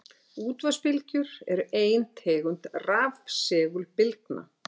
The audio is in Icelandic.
Útvarpsbylgjur eru ein tegund rafsegulbylgna.